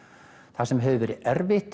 það sem hefur verið erfitt